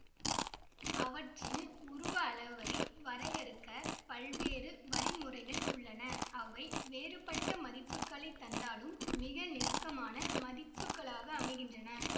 அவற்றின் உருவ அளவை வரையறுக்கப் பல்வேறு வழிமுறைகள் உள்ளன அவை வேறுபட்ட மதிப்புக்களைத் தந்தாலும் மிக நெருக்கமான மதிப்புக்களாக அமைகின்றன